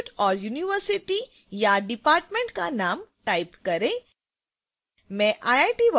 यहाँ institute/university या department का name type करें